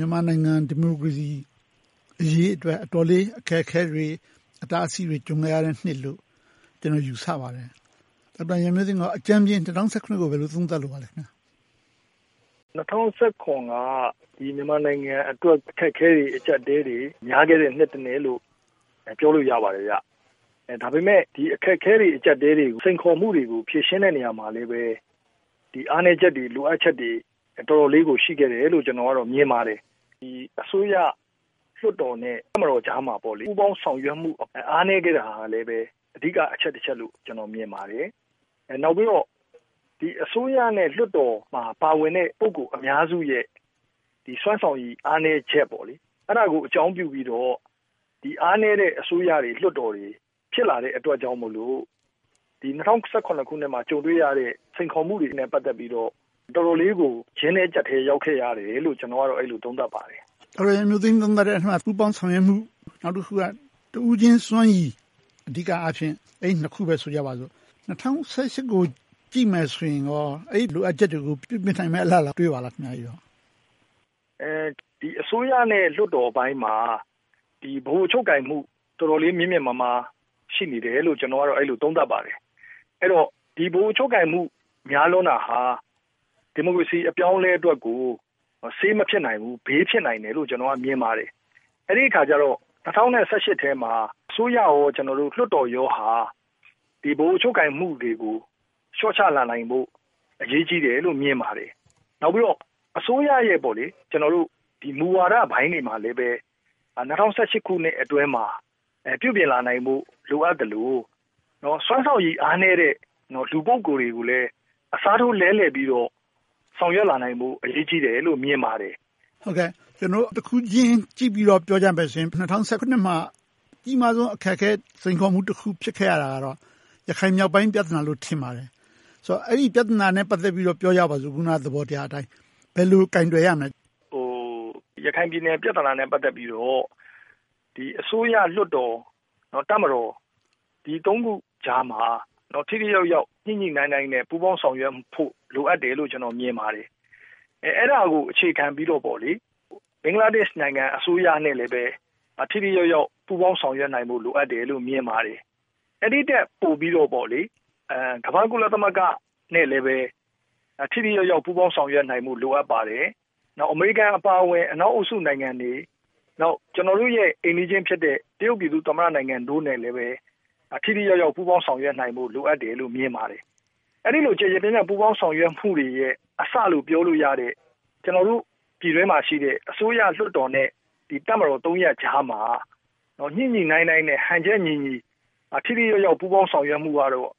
ြန်မာနိုင်ငံ ဒီမိုကရေစီအရေးအတွက် အတော်လေး အခက်အခဲတွေ၊ အတားအဆီးတွေ ကြုံခဲ့ရတဲ့နှစ်လို့ ကျနော် ယူဆပါတယ်။ ဒေါက်တာရန်မျိုးသိမ်းအနေနဲ့ အကြမ်းမျဉ်း ၂၀၁၇ ကို ဘယ်လို သုံးသပ်ပါလဲ။ Dr. ရန်မျိုးသိမ်း ။ ။ ၂၀၁၇ က မြန်မာနိုင်ငံအတွက် အခက်အခဲတွေ၊ အကျပ်အတည်းတွေ များခဲ့တဲ့ နှစ်တနှစ်လို့ ပြောလို့ရပါတယ်။ ဒါပေမဲ့ ဒီအခက်အခဲတွေ၊ အကျပ်အတည်းတွေကို စိန်ခေါ်မှုတွေကို ဖြေရှင်းတဲ့နေရာမှာလည်း ဒီအားနည်းချက်တွေ၊ လိုအပ်ချက်တွေ၊ အတော်လေးကို ရှိခဲ့တယ်လို့ ကျနော်က မြင်ပါတယ်။ အစိုးရလွှတ်တော်နဲ့ တပ်မတော်ကြားမှာ ပူးပေါင်းဆောင်ရွက်မှုတွေ အားနည်းခဲ့တာလည်း အဓိကအချက်တချက်လို့ ကျနော် မြင်ပါတယ်။ နောက်ပြီးတော့ အစိုးရနဲ့ လွှတ်တော်မှာ ပါဝင်တဲ့ ပုဂ္ဂိုလ်အများစုရဲ့ စွမ်းဆောင်ရည် အားနည်းချက်။ အဲဒါကို အကြောင်းပြုပြီးတော့ ဒီအားနည်းတဲ့ အစိုးရတွေ၊ လွှတ်တော်တွေ ဖြစ်လာတဲ့အတွက်ကြောင့်မို့ ၂၀၁၇ မှာ ကြုံတွေ့ရတဲ့ စိန်ခေါ်မှုတွေနဲ့ ပတ်သက်ပြီးတော့ တော်တော်လေးကို ကျဉ်းထဲကျပ်ထဲကို ရောက်ခဲ့ရတယ်လို့ ကျနော်ကတော့ အဲဒီလို သုံးသပ်ပါတယ်။ ဦးကျော်ဇံသာ ။ ။ ဒေါက်တာရန်မျိုးသိမ်း သုံးသပ်တဲ့အထဲမှာ ပူးပေါင်းဆောင်ရွက်မှု၊ နောက်တခုက တဦးချင်းစွမ်းရည် - အဓိကအားဖြင့် အဲဒီနှစ်ခုပဲ ဆိုကြပါစို့။ ၂၀၁၈ ကို ကြည့်မယ်ဆိုရင်ကော၊ အဲဒီလိုအပ်ချက်တွေကို ပြုပြင်နိုင်မယ့် အလားအလာ တွေ့ပါလား။ Dr. ရန်မျိုးသိမ်း ။ အစိုးရနဲ့ လွှတ်တော်ပိုင်းမှာ ဗဟိုချုပ်ကိုင်မှု တော်တော်လေး မြင့်မြင့်မားမား ရှိနေတယ်လို့ ကျနော်ကတော့ အဲဒီလို သုံးသပ်ပါတယ်။ အဲဒီတော့ ဗဟိုချုပ်ကိုင်မှု တော်တော်များလွန်တာဟာ ဒီမိုကရေစီ အပြောင်းအလဲအတွက်ကို ဆေးမဖြစ်နိုင်ဘူး၊ ဘေးဖြစ်နိုင်တယ်လို့ ကျနော်က မြင်ပါတယ်။ အဲဒီအခါကြတော့ ၂၀၁၈ ထဲမှာ အစိုးရနဲ့ လွှတ်တော်ဟာ ဒီ ဗဟိုချုပ်ကိုင်မှုတွေကို လျှော့ချလာနိုင်ဖို့ အရေးကြီးတယ်လို့ မြင်ပါတယ်။ နောက်ပြီးတော့ အစိုးရရဲ့ မူဝါဒပိုင်းတွေမှာလည်း ၂၀၁၈ ခုနှစ်အတွင်းမှာ ပြုပြင်လာနိုင်ဖို့ လိုအပ်သလို၊ စွမ်းဆောင်ရည် အားနည်းတဲ့ လူပုဂ္ဂိုလ်တွေကိုလည်း အစားထိုးလဲလည်ပြီးတော့ ဆောင်ရွက်လာနိုင်ဖို့ အရေးကြီးတယ်လို့ မြင်ပါတယ်။ ဦးကျော်ဇံသာ ။ ။ ကျနော်တို့ တခုချင်းကြည့်ပြီးတော့ ပြောကြမယ်ဆိုရင် ၂၀၁၇ မှာ အကြီးမားဆုံး အခက်အခဲ၊ စိန်ခေါ်မှု ဖြစ်ခဲ့ရတာကတော့ ရခိုင်မြောက်ပိုင်း ပြဿနာလို့ ထင်ပါတယ်။ ဆိုတော့ အဲဒီပြဿနာနဲ့ ပတ်သက်ပြီးတော့ ပြောကြပါစို့ အခုန သဘောတရားအတိုင်း။ ဘယ်လ Dr. ရန်မျိုးသိမ်း ။ ရခိုင်ပြည်နယ် ပြဿနာနဲ့ ပတ်သက်ပြီးတော့ အစိုးရလွှတ်တော်၊ တပ်မတော်၊ ဒီသုံးခုကြားမှာ ထိထိရောက်ရောက်၊ ညှိညှိနှိုင်းနှိုင်းနဲ့ ပူးပေါင်းဆောင်ရွက်ဖို့ လိုအပ်တယ်လို့ ကျနော် မြင်ပါတယ်။ အဲဒါကို အခြေခံပြီးတော့ ဘင်္ဂလားဒေ့ရှ်နိုင်ငံ အစိုးရနဲ့လည်း ထိထိရောက်ရောက် ပူးပေါင်းဆောင်ရွက်နိုင်ဖို့ လိုအပ်တယ်လို့ မြင်ပါတယ်။ အဲဒီထက် ပိုပြီးတော့ ကမ္ဘာ့ ကုလသမဂ္ဂနဲ့လည်း ထိထိရောက်ရောက် ပူးပေါင်းဆောင်ရွက်နိုင်ဖို့လည်း လိုအပ်ပါတယ်။ ပြီးနောက် အမေရိကန်အပါအဝင် အနောက်အုပ်စုနိုင်ငံတွေ၊ နောက် ကျနော်တို့ရဲ့ အိမ်နီးချင်းဖြစ်တဲ့ တရုတ်ပြည်သူ့သမ္မတနိုင်ငံတို့နဲ့လည်း ထိထိရောက်ရောက် ပူးပေါင်းဆောင်ရွက်နိုင်ဖို့ လိုအပ်တယ်လို့ မြင်ပါတယ်။ အဲဒီလို ကျယ်ကျယ်ပြန့်ပြန့် ပူးပေါင်းဆောင်ရွက်မှုတွေရဲ့ အစလို့ ပြောလို့ရတဲ့ ကျနော်တို့ ပြည်တွင်းမှာရှိတဲ့ အစိုးရလွှတ်တော်နဲ့ တပ်မတော် ရပ်ကြားမှာ ညှိညှိနှိုင်းနှိုင်းနဲ့ ဟန်ချက်ညီညီ ထိထိရောက်ရောက် ပူးပေါင်းဆောင်ရွက်မှုကတော့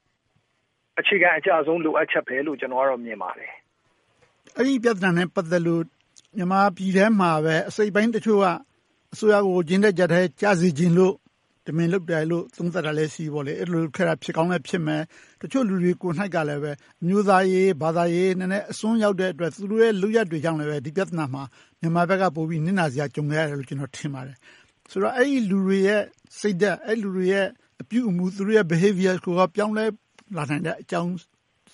အခြေခံအကျဆုံး လိုအပ်ချက်ဆုံးလို့ ကျနော် မြင်ပါတယ်။ ဦးကျော်ဇံသာ ။ ။ အဲဒီပြဿနာနဲ့ ပတ်သက်လို့ မြန်မာပြည်ထဲမှာပဲ အစိတ်အပိုင်းတချို့က အစိုးရကို အကျဉ်းထဲအကျပ်ထဲ ကျစေချင်လို့ တမင်လုပ်တာလို့ သုံးသပ်တာမျိုးလည်းရှိတယ်။ အဲဒီလို လုပ်ခဲ့တာလည်း ဖြစ်ကောင်းဖြစ်မယ်။ တချို့လူတွေ ကိုယ်တိုင်လည်း အမျိုးသားရေး၊ ဘာသာရေးလည်း အစွန်းရောက်တဲ့အတွက် သူတို့ရဲ့ လုပ်ရပ်တွေကြောင့် ဒီပြဿနာမှာ မြန်မာဘက်က နစ်နာစရာ ကြုံခဲ့ရတယ်လို့ ကျနော် ထင်ပါတယ်။ ဆိုတော့ အဲဒီလူတွေရဲ့ စိတ်ဓါတ်၊ သူတို့ရဲ့ အပြုအမှု၊ သူတို့ရဲ့ Behavior ကိုရော ပြောင်းလဲလာနိုင်တဲ့အကြောင်း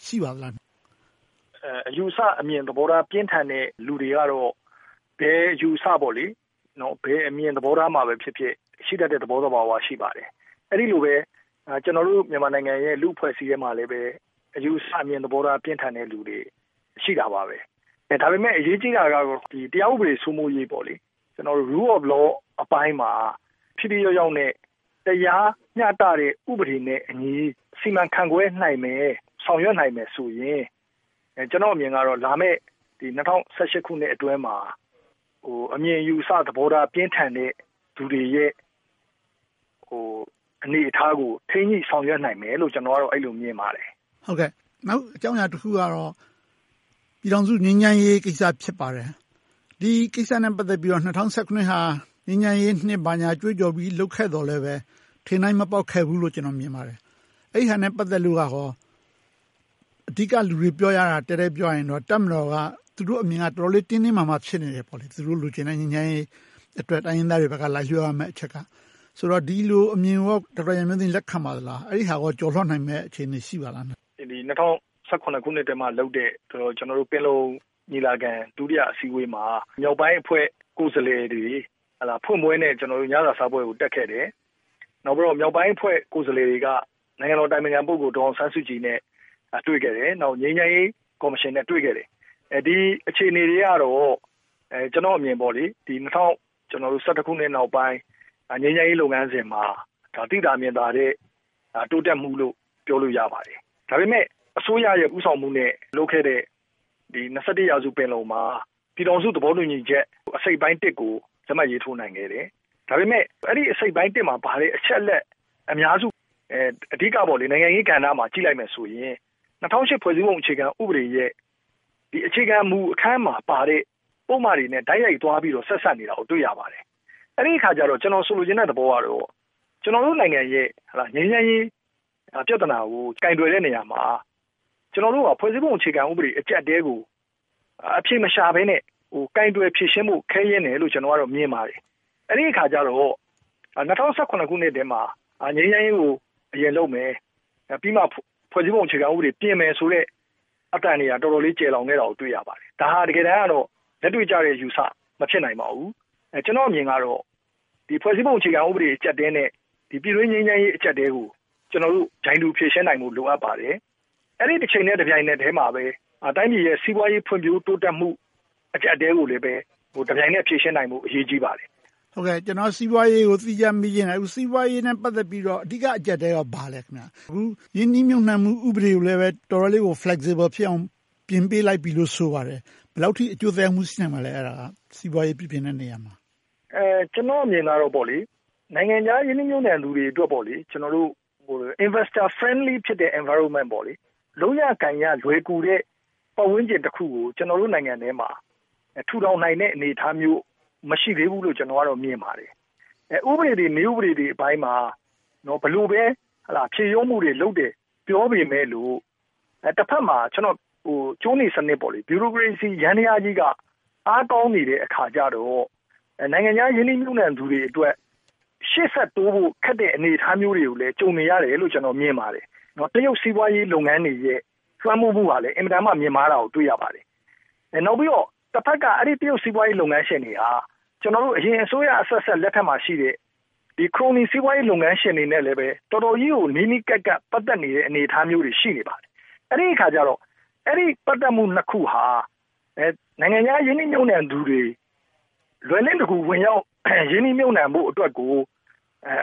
ရှိပါသလား။ Dr. ရန်မျိုးသိမ်း ။ ။ အယူအဆအမြင် သဘောထား ပြင်းထန်တဲ့ လူတွေကတော့ ဘယ်အယူအဆ၊ ဘယ်အမြင်သဘောထားမှာပဲ ဖြစ်ဖြစ် ရှိတတ်တဲ့ သဘောသဘာဝ ရှိပါတယ်။ အဲဒီလိုပဲ ကျနော်တို့ မြန်မာနိုင်ငံရဲ့ လူ့အဖွဲ့အစည်းထဲမှာလည်း အယူအဆ၊ အမြင် ပြင်းထန်တဲ့လူတွေ ရှိတာပါပဲ။ ဒါပေမဲ့ အရေးကြီးတာကတော့ တရားဥပဒေ စိုးမိုးရေး Rule of law ပိုင်းမှာ ထိထိရောက်ရောက်နဲ့ တရားမျှတတဲ့ ဥပဒေနဲ့အညီ စီမံခန့်ခွဲနိုင်မယ်၊ ဆောင်ရွက်နိုင်မယ်ဆိုရင် ကျနော့်အမြင်ကတော့ လာမယ့် ၂၀၁၈ ခုနှစ်အတွင်းမှာ အမြင်အယူအဆ သဘောထား ပြင်းထန်တဲ့ လူတွေရဲ့ အနေအထားကို ထိန်းညှိဆောင်ရွက်နိုင်မယ်လို့ အဲဒီလို မြင်ပါတယ်။ ဦးကျော်ဇံသာ ။ ။ နောက်အကြောင်းအရာတခုကတော့ ပြည်ထောင်စု ငြိမ်းချမ်းရေးကိစ္စ ဖြစ်ပါတယ်။ ဒီကိစ္စနဲ့ ပတ်သက်ပြီးတော့ ၂၀၁၇ ဟာ ငြိမ်းချမ်းရေးနှစ် ဘာညာကြွေးကြော်ပြီး လုပ်ခဲ့သော်လဲ ထင်တိုင်းမပေါက်ခဲ့ဘူးလို့ ကျနော် မြင်ပါတယ်။ အဲဒါနဲ့ ပတ်သက်လို့ အဓိကလူတွေ ပြောကြတာ - တည့်တည့်ပြောရရင်တော့ တပ်မတော်က သူတို့အမြင်က တော်တော်လေး တင်းတင်းမာမာ ဖြစ်နေတယ်။ သူတို့ လိုချင်တဲ့ ငြိမ်းချမ်းရေးအတွက် တိုင်းရင်းသားတွေဘက်က လိုက်လျောရမယ့်အချက်က။ ဒီလိုအမြင်ကို ဒေါက်တာရန်မျိုးသိမ်း လက်ခံပါသလား။ အဲဒါကို ကျော်လွှာနိုင်မယ့် အခြေအနေ ရှိပါသလား။ Dr. ရန်မျိုးသိမ်း ။ ၂၀၁၇ ခုနှစ်အတွင်းမှာလုပ်တဲ့ ပင်လုံညီလာခံ ဒုတိယအစည်းအဝေးမှာ မြောက်ပိုင်းအဖွဲ့ ကိုယ်စားလှယ်တွေ ဖွင့်ပွဲနဲ့ ညစာစားပွဲကို တက်ခဲ့တယ်။ နောက်ပြီးတော့ မြောက်ပိုင်းအဖွဲ့ ကိုယ်စားလှယ်တွေက နိုင်ငံတော်အတိုင်ပင်ခံ ပုဂ္ဂိုလ် ဒေါ်အောင်ဆန်းစုကြည်နဲ့ တွေ့ခဲ့တယ်။ ငြိမ်းချမ်းရေးကော်မရှင်နဲ့ တွေ့ခဲ့တယ်။ ဒီအခြေအနေတွေကတော့ ကျနော့်အမြင် ၂၀၁၁ ခုနှစ်နောက်ပိုင်း ငြိမ်းချမ်းရေးလုပ်ငန်းစဉ်မှာ သိသာမြင်သာတဲ့ တိုးတက်မှုလို့ ပြောလို့ရပါတယ်။ ဒါပေမဲ့ အစိုးရရဲ့ ဦးဆောင်မှုနဲ့ လုပ်ခဲ့တဲ့ ရာစု ပင်လုံမှာ ပြည်ထောင်စုသဘောတူညီချက် အစိတ်အပိုင်း ကို လက်မှတ်ရေးထိုးနိုင်ခဲ့တယ်။ ဒါပေမဲ့ အဲဒီအစိတ်အပိုင်း မှာပါတဲ့ အချက်အလက် အများစု အဓိကတော့ နိုင်ငံရေးကဏ္ဍမှာ ကြည့်လိုက်မယ်ဆိုရင် ၂၀၀၈ ဖွဲ့စည်းပုံ အခြေခံဥပဒေရဲ့ အခြေခံမူအခန်းမှာပါတဲ့ ပုဒ်မတွေနဲ့ တိုက်ရိုက်သွားပြီးတော့ ဆက်စပ်နေတာကိုသွားပြီးတော့ တွေ့ရပါတယ်။ အဲဒီအခါကြတော့ ကျနော် ဆိုလိုချင်တဲ့သဘောကတော့ ကျနော်တို့နိုင်ငံရဲ့ ငြိမ်းချမ်းရေးပြဿနာကို ကိုင်တွယ်တဲ့နေရာမှာ ကျနော်တို့က ဖွဲ့စည်းပုံအခြေခံဥပဒေ အကျပ်အတည်းကို အဖြေမရှာဘဲနဲ့ ကိုင်တွယ်ဖြေရှင်းဖို့ ခဲယဉ်းတယ်လို့ မြင်ပါတယ်။ အဲဒီအခါကြတော့ ၂၀၁၇ ခုနှစ်ထဲမှာ ငြိမ်းချမ်းရေးကို အရင်လုပ်မယ်။ ပြီးမှ ဖွဲ့စည်းပုံအခြေခံဥပဒေ ပြင်မယ်ဆိုတဲ့ အသံတွေက တော်တော်လေး ကျယ်လောင်ခဲ့တာကို တွေ့ရပါတယ်။ ဒါက တကယ်တမ်းတော့ လက်တွေ့ကျတဲ့ အယူအဆ မဖြစ်နိုင်ပါဘူး။ ကျနော့်အမြင်ကတော့ ဒီဖွဲ့စည်းပုံ အခြေခံဥပဒေ အကျပ်အတည်းနဲ့ ပြည်တွင်းငြိမ်းချမ်းရေး အကျပ်အတည်းကို ကျနော်တို့ ပြိုင်တူဖြေရှင်းနိုင်ဖို့ လိုအပ်ပါတယ်။ အဲဒီအချိန်တပြိုင်နက်ထဲမှာပဲ တိုင်းပြည်ရဲ့ စီးပွားရေးဖွံ့ဖြိုးတိုးတက်မှု အကျပ်အတည်းကိုလည်း တပြိုင်နက်ဖြေရှင်းနိုင်ဖို့ အရေးကြီးပါတယ်။ ဦးကျော်ဇံသာ ။ ။ ကျနော်က စီးပွားရေးကို သီးခြားမေးချင်တယ်။ အခု စီးပွားရေးနဲ့ ပတ်သက်ပြီးတော့ အဓိက အကျပ်အတည်းက ဘာလဲ။ အခု ရင်းနှီးမြုပ်နံှမှု ဥပဒေကိုလည်း တော်တော်လေးကို Flexible ဖြစ်အောင် ပြင်ပေးလိုက်ပြီလို့ ဆိုပါတယ်။ ဘယ်လောက်အထိ အကျိုးသက်ရောက်မှု ရှိနိုင်မလဲ။ စီးပွားရေး ပြုပြင်တဲ့နေရာမှာ။ Dr. ရန်မျိုးသိမ်း ။ ကျနော့်အမြင်ကတော့ နိုင်ငံခြားရင်းနှီးမြုပ်နံှသူတွေအတွက် Investor Friendly Environment လုပ်ရကိုင်ရ လွယ်ကူတဲ့ ပတ်ဝန်းကျင်တခုကို ကျနော်တို့ နိုင်ငံထဲမှာ ထူထောင်နိုင်တဲ့ အနေအထားမျိုး မရှိသေးဘူးလို့ မြင်ပါတယ်။ ဥပဒေတွေ၊ နည်းဥပဒေတွေပိုင်းမှာ ဘယ်လိုပဲ ဖြေလျော့မှုတွေလုပ်တယ် ပြောပေမယ့်လို့ တဘက်မှာ ကြိုးနီစနစ် ဗျူရိုကရေစီ ယန္တရားကြီးက အားကောင်းနေတဲ့အခါကြတော့ နိုင်ငံခြားရင်းနှီးမြုပ်နံှသူတွေအတွက် ရှေ့ဆက်တိုးဖို့ ခက်တဲ့ အနေအထားမျိုးတွေကိုလည်း ကြုံနေရတယ်လို့ မြင်ပါတယ်။ တရုတ်စီးပွားရေး လုပ်ငန်းတွေရဲ့ လွှမ်းမိုးမှုကလည်း အင်မတန်မှ မြင့်မားတာကိုလည်း တွေ့ရပါတယ်။ နောက်ပြီးတော့ တဘက်က တရုတ်စီးပွားရေး လုပ်ငန်းရှင်တွေက အရင်အစိုးရအဆက်ဆက် လက်ထက်မှာရှိတဲ့ ခရိုနီစီးပွားရေး လုပ်ငန်းရှင်တွေနဲ့လည်း တော်တော်ကြီးကို နီးနီးကပ်ကပ် ပတ်သက်နေတဲ့ အနေအထားမျိုးတွေ ရှိနေပါတယ်။ အဲဒီအခါကြတော့ အဲဒီ ပတ်သက်မှု နှစ်ခုဟာ နိုင်ငံခြားရင်းနှီးမြုပ်နံှသူတွေ လွယ်လင့်တကူ ဝင်ရောက်ရင်းနှီးဖို့အတွက်ကို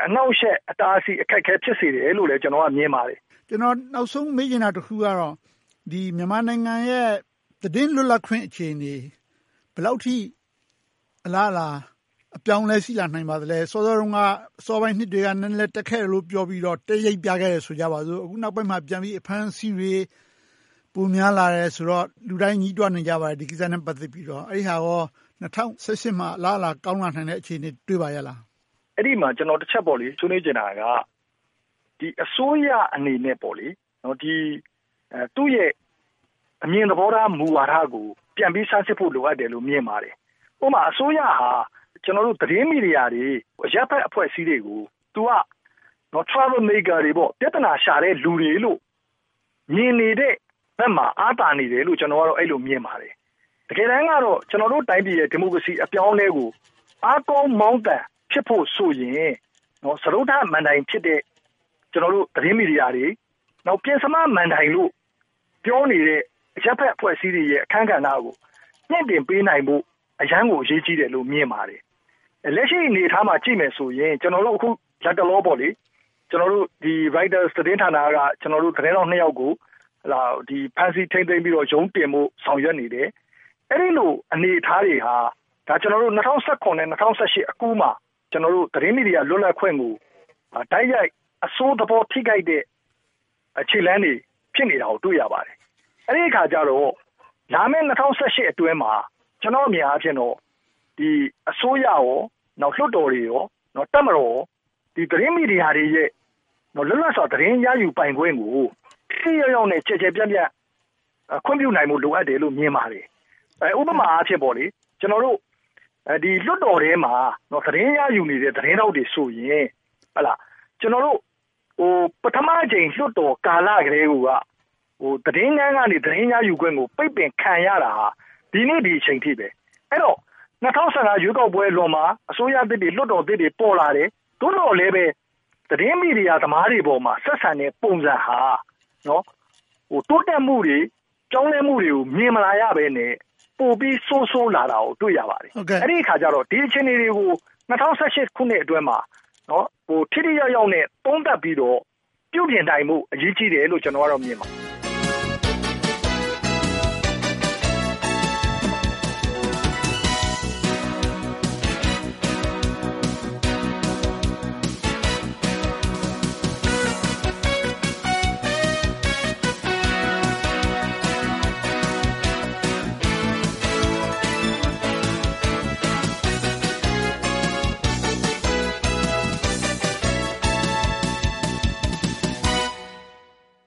အနှောင့်အယှက်၊ အတားအဆီး၊ အခက်အခဲ ဖြစ်စေတယ်လို့လည်း မြင်ပါတယ်။ ဦးကျော်ဇံသာ ။ ။ နောက်ဆုံးမေးချင်တာတခုကတော့ မြန်မာနိုင်ငံရဲ့ သတင်းလွတ်လပ်ခွင့် အခြေအနေတွေ ဘယ်လောက်အထိ အလားအလာ အပြောင်းအလဲ ရှိလာနိုင်ပါသလဲ။ အစောပိုင်းနှစ်တွေက နည်းနည်းတက်ခဲ့တယ်လို့ ပြောပြီးတော့ တက်ရိပ်ပြခဲ့တယ် ဆိုကြပါစို့။ အခုနောက်ပိုင်းမှာ ပြန်ပြီး အဖမ်းအဆီးတွေ ပြန်များလာတယ်ဆိုတော့ လူတိုင်း ဒီကိစ္စနဲ့ ပတ်သက်ပြီးတော့ ညည်းတွားနေကြပါတယ်။ ဒါကိုကော ၂၀၁၈ မှာ အလားအလာ ကောင်းလာနိုင်မယ့် အခြေအနေ တွေ့ပါသလား။ Dr. ရန်မျိုးသိမ်း ။ ။ အဲဒီမှာတချက် ကျနော် ဆွေးနွေးချင်တာက အစိုးရအနေနဲ့ သူ့ရဲ့အမြင်သဘောထား မူဝါဒကို ပြန်ပြီးစမ်းစစ်ဖို့ လိုတယ်လို့ မြင်ပါတယ်။ ဥပမာ အစိုးရဟာ ကျနော်တို့ သတင်းမီဒီယာတွေ၊ အရပ်ဖက်အဖွဲ့အစည်းတွေကို Troublemakers တွေ ပြဿနာရှာတဲ့လူတွေလို့ မြင်နေတဲ့ဘက်မှာ အားသာနေတယ်လို့ အဲဒီလို မြင်ပါတယ်။ တကယ်တမ်းတော့ ကျနော်တို့တိုင်းပြည်ရဲ့ ဒီမိုကရေစီ အပြောင်းအလဲကို အားကောင်းမောင်းသန် ဖြစ်ဖို့ဆိုရင် စတုတ္ထမဏ္ဍိုင်ဖြစ်တဲ့ သတင်းမီဒီယာတွေ၊ ပဉ္စမမဏ္ဍိုင်လို့ ပြောနေတဲ့ အရပ်ဖက်အဖွဲ့အစည်းတွေရဲ့ အခန်းကဏ္ဍကို မြှင့်တင်ပေးနိုင်ဖို့ အရမ်းကို အရေးကြီးတယ်လို့ မြင်ပါတယ်။ လက်ရှိအနေအထားကို ကြည့်မယ်ဆိုရင် လတ်တလော Reuters သတင်းဌာနက သတင်းထောက်နှစ်ယောက်ကို ဖမ်းဆီးထိန်းသိမ်းပြီးတော့ ရုံးတင်ဖို့ ဆောင်ရွက်နေတယ်။ အဲဒီလို အနေအထားတွေဟာ ၂၀၁၇-၂၀၁၈ အကူးမှာ သတင်းမီဒီယာ လွတ်လပ်ခွင့်ကို တိုက်ရိုက်အဆိုးသဘော ထိခိုက်တဲ့ ခြေလှမ်းတွေ ဖြစ်နေတာကို တွေ့ရပါတယ်။ အဲဒီအခါကြတော့ လာမယ့် ၂၀၁၈ အတွင်းမှာ ကျနော့်အမြင်အားဖြင့်တော့ အစိုးရ၊ လွှတ်တော် နဲ့ တပ်မတော်တို့က သတင်းမီဒီယာတွေရဲ့ လွတ်လပ်စွာ သတင်းရယူပိုင်ခွင့်ကို ထိထိရောက်ရောက်နဲ့ ကျယ်ကျယ်ပြန့်ပြန့် ခွင့်ပြုနိုင်ဖို့ လိုအပ်တယ်လို့ မြင်ပါတယ်။ ဥပမာအားဖြင့် လွှတ်တော်ထဲမှာ သတင်းရယူနေတဲ့ သတင်းသမားတွေဆိုရင် ပထမအကြိမ် လွှတ်တော်ကာလကတည်းကိုက သတင်းခန်းကနေ သတင်းရယူခွင့်ကို ပိတ်ပင်ခံရတာဟာ ဒီနေ့ဒီအချိန်ထိပါ။ အဲဒီတော့ ၂၀၁၅ ရွေးကောက်ပွဲအလွန်မှာ အစိုးရသစ်၊ လွှတ်တော်သစ်တွေ ပေါ်လာတယ်။ သို့သောလဲပဲ သတင်းမီဒီယာသမားတွေအပေါ်မှာ ဆက်ဆံတဲ့ ပုံစံဟာ တိုးတက်မှုတွေ၊ ပြောင်းလဲမှုတွေကို မြင်မလာရဘဲနဲ့ ပိုပြီးဆိုးဆိုးလာတာကို တွေ့ရပါတယ်။ အဲဒီအခါကြတော့ ဒီအခြေအနေတွေကို ၂၀၁၈ ခုနှစ်အတွင်းမှာ ထိထိရောက်ရောက်နဲ့ သုံးသပ်ပြီးတော့ ပြုပြင်နိုင်ဖို့ အရေးကြီးတယ်လို့ ကျနော်က မြင်ပါတယ်။